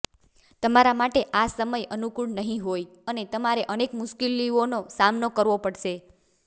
તમારા માટે આ સમય અનુકૂળ નહિં હોય અને તમારે અનેક મુશ્કેલીઓનો સામનો કરવો પડશે